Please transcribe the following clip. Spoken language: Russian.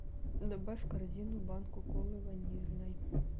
добавь в корзину банку колы ванильной